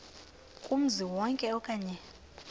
kumzi wonke okanye